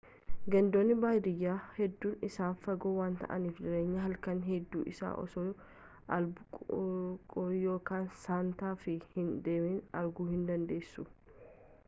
gandoonni baadiyyaa hedduun isaanii fagoo waan ta'aniif jireenya halaknii hedduu isaa osoo albuquerque yookaan santa fe hin deemin arguu hindandeessu